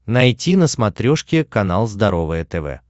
найти на смотрешке канал здоровое тв